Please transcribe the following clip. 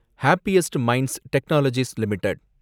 happiest Minds Technologies limited